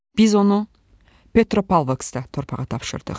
Biz onu Petropavlovskda torpağa tapşırdıq.